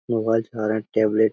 Mobile चल रहे हैं। टैबलेट --